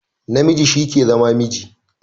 Namiji shi ke zama miji